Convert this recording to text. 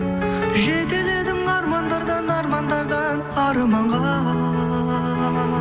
жетеледің армандардан армандардан арманға